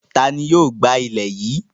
Ta ni yóò gbá ilẹ̀ yìí?